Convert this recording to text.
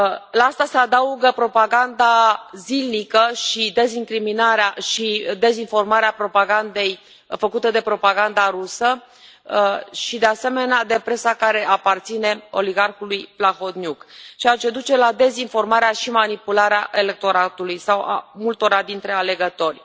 La asta se adaugă propaganda zilnică și dezincriminarea și dezinformarea propagandei făcute de propaganda rusă și, de asemenea, de presa care aparține oligarhului Plahotniuc, ceea ce duce la dezinformarea și manipularea electoratului sau a multora dintre alegători.